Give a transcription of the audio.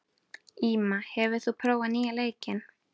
Íma, hefur þú prófað nýja leikinn?